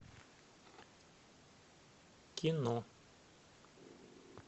кино